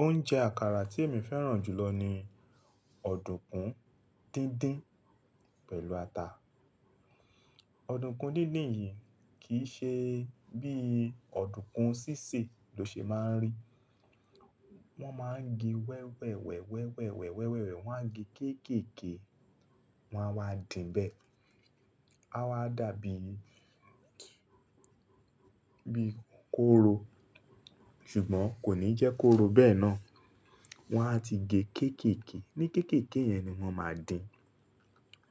Oúnjẹ àkàrà tí èmi fẹ́ràn jùlọ ni ọ̀dùnkún díndín pẹ̀lú ata. Ọ̀dùnkún díndín yìí kì í ṣe bí ọ̀dùnkún sísè ló ṣe máa ń rí. Wọ́n máa ń gé wẹ́wẹ̀wẹ́ wẹ̀wẹ́wẹ̀ wẹ́wẹ̀wẹ́ wọ́n a gé kéèkèekee, wọn a wá dìn bẹ́ẹ̀. A wa dàbí i bí i kóró, ṣùgbọ́n kò ní jẹ́ kóró bẹ́ẹ̀ náà. Wọ́n á ti gé kéèkèe, ní kéèkèe yẹn ni wọ́n máa dìn.